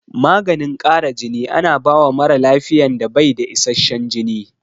Maganin ƙara jini ana bawa mara lafiyan da bai da isashen jini